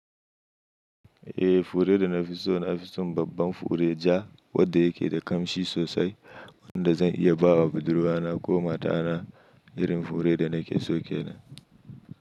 Eh fure da na fi so na fi son babban fure ja wanda ya ke da kamshi sosai wanda zan iya ba wa budurwa na ko mata na irin fure da na ke so ke nan.